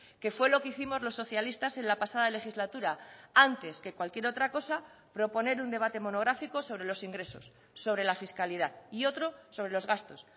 que fue lo que hicimos los socialistas en la pasada legislatura antes que cualquier otra cosa proponer un debate monográfico sobre los ingresos sobre la fiscalidad y otro sobre los gastos